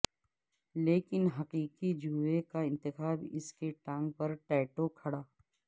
لیکن حقیقی جوئے کا انتخاب اس کی ٹانگ پر ٹیٹو کڑا